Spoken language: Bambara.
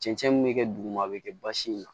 Cɛncɛn min bɛ kɛ duguma a bɛ kɛ basi in na